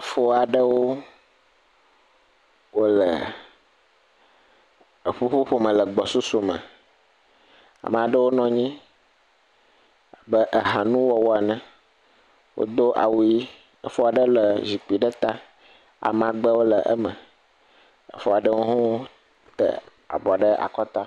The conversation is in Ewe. Efo aɖewo wole eƒuƒoƒo me le gbɔsusu me. Ama ɖewo nɔ nyi abe aehanuwɔwɔ ene. Wodo awu ɣi. Efo aɖe le zikpui ɖe ta. Amagbewo le eme. Efo aɖewo hã wo te avɔ ɖe akɔta